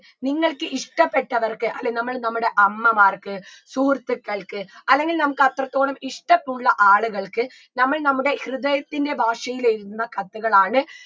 നിങ്ങൾക്ക് ഇഷ്ട്ടപ്പെട്ടവർക്ക് അല്ലെ നമ്മള് നമ്മടെ അമ്മമാർക്ക് സുഹൃത്തുക്കൾക്ക് അല്ലെങ്കി നമക്ക് അത്രത്തോളം ഇഷ്ടമുള്ള ആളുകൾക്ക് നമ്മൾ നമ്മുടെ ഹൃദയത്തിൻറെ ഭാഷയിൽ എഴുതുന്ന കത്തുകളാണ്